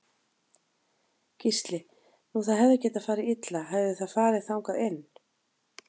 Gísli: Nú það hefði getað farið illa hefði það farið þangað inn?